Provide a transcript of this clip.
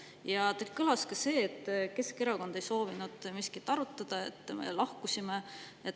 Ja teie ütlustest kõlas ka see, et Keskerakond ei soovinud miskit arutada ja et meie lahkusime.